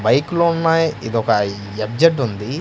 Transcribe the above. బైక్లు ఉన్నాయి ఇది ఒక ఎఫ్_జెడ్ ఉంది.